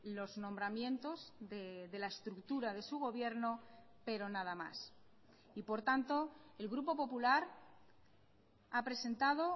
los nombramientos de la estructura de su gobierno pero nada más y por tanto el grupo popular ha presentado